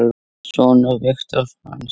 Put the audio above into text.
Sonur Viktor Franz.